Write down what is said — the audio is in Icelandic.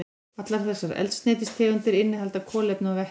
Allar þessar eldsneytistegundir innihalda kolefni og vetni.